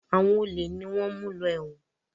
Àwọn olè ni wọ́n ń mú lọ ẹ̀wọ̀n.